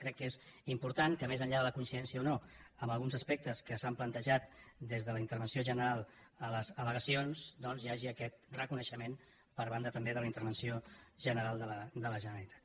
crec que és important que més enllà de la coincidència o no amb alguns aspectes que s’han plantejat des de la intervenció general a les aldoncs hi hagi aquest reconeixement per banda també de la intervenció general de la generalitat